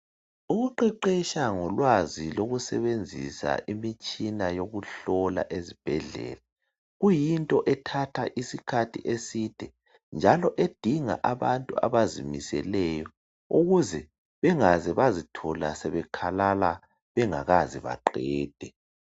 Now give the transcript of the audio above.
Ukuqeqesha ngolwazi lokusebenzisa imitshina yokuhlola ezibhedlela kuyinto ethatha isikhathi eside njalo edinga abantu abazimiseleyo ukuze bengaze bazithola sebekhalala bengakaze baqede.